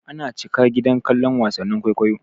Ana cika gida kallon wasannin kwaikwayo.